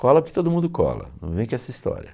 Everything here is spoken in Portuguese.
Cola porque todo mundo cola, não vem com essa história.